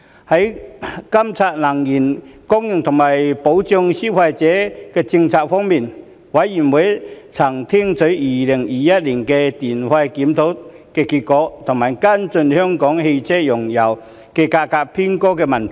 在監察能源供應和保障消費者政策方面，事務委員會曾聽取2021年的電費檢討結果及跟進香港車用燃油價格偏高的問題。